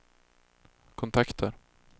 kontakter